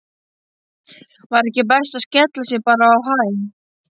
Var ekki best að skella sér bara á Hæ?